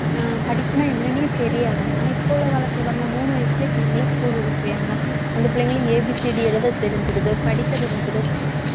உம் படிப்புனா என்னன்னே தெரியாது ஆனா இப்ப உள்ள காலத்துல பாருங்க மூணு வயசுலயே பிள்ளைங்கள school விட்டுருவாங்க அந்த பிள்ளைங்களை A B C D எழுத தெரிஞ்சிருது படிக்க தெரிஞ்சிடும்